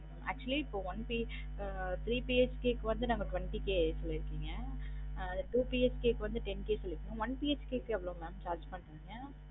Actually இப்ப one BHK ah three BHK வந்து twenty K சொல்லிருகிங்க அஹ் two BHK க்கு வந்து ten K சொல்லிருகிங்க one BHK எவ்ளோ mam charge பண்றிங்க